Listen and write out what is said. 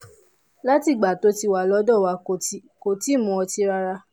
láti ìgbà tó ti wà lọ́dọ̀ wa kò tíì mu ọtí rárá